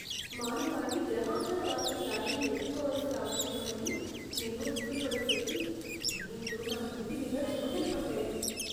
మానవాళి గ్రహాంతరవాసుల దాడిని ఎదుర్కోవలసి రావచ్చేమోనని నేను దిగులు పడేసరికి, భయంతో నా నుదిటి మీద చెమటలు పట్టాయి.